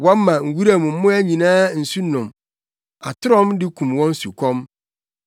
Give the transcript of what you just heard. Wɔma wuram mmoa nyinaa nsu nom; atorɔm de kum wɔn sukɔm.